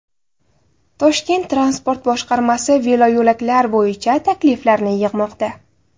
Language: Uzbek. Toshkent Transport boshqarmasi veloyo‘laklar bo‘yicha takliflarni yig‘moqda.